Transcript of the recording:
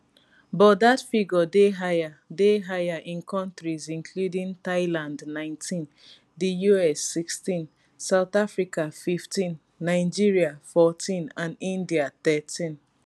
but dat figure dey higher dey higher in countries including thailand 19 di us 16 south africa 15 nigeria 14 and india 13